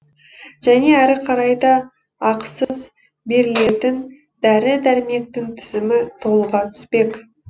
және әрі қарай да ақысыз берілетін дәрі дәрмектің тізімі толыға түспек